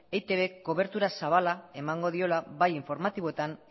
eitbk kobertura zabala emango diola bai informatiboetan